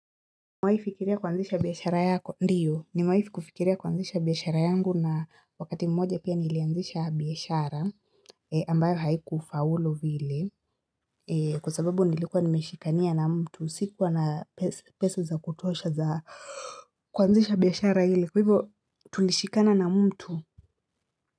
Umewahi fikiria kuanzisha biashara yako? Ndiyo nimewahi kufikiria kuanzisha biashara yangu na wakati mmoja pia nilianzisha biashara ambayo haiku faulu vile kwa sababu nilikuwa nimeshikania na mtu sikuwa na pesa pesa za kutuosha za kuanzisha biashara ile kwa hivo tulishikana na mtu.